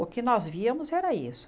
O que nós víamos era isso.